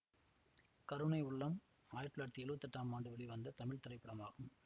கருணை உள்ளம் ஆயிரத்தி தொள்ளாயிரத்தி எழுவத்தி எட்டாம் ஆண்டு வெளிவந்த தமிழ் திரைப்படமாகும்